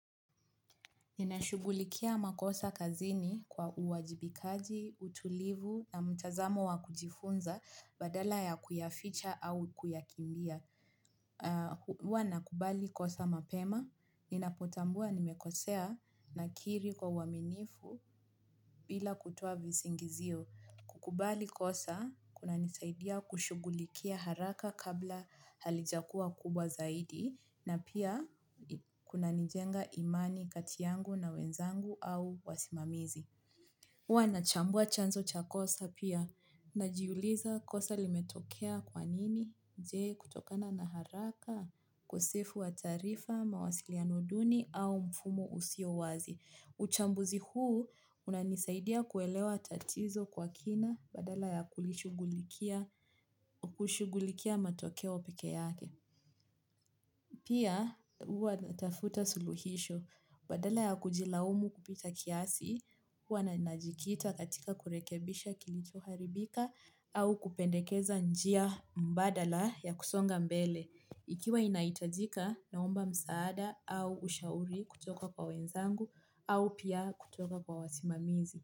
Ninashugulikia makosa kazini kwa uwajibikaji, utulivu na mtazamo wakujifunza badala ya kuyaficha au kuyakimbia. Huwa na kubali kosa mapema, ninapotambua nimekosea na kiri kwa uwaminifu bila kutoa visingizio. Kukubali kosa, kuna nisaidia kushugulikia haraka kabla halijakua kubwa zaidi, na pia kuna nijenga imani katiyangu na wenzangu au wasimamizi. Huwa na chambua chanzo cha kosa pia, na jiuliza kosa limetokea kwanini, jee kutokana na haraka, ukosefu wa taarifa, mawasiliano duni au mfumo usio wazi. Uchambuzi huu unanisaidia kuelewa tatizo kwa kina badala ya kushugulikia matokeo peke yake. Pia huwa natafuta suluhisho badala ya kujilaumu kupita kiasi huwa na najikita katika kurekebisha kilicho haribika au kupendekeza njia mbadala ya kusonga mbele. Ikiwa inaitajika naomba msaada au ushauri kutoka kwa wenzangu au pia kutoka kwa wasimamizi.